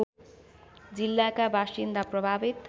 जिल्लाका बासिन्दा प्रभावित